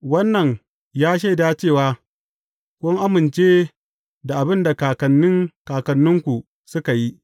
Wannan ya shaida cewa kun amince da abin da kakannin kakanninku suka yi.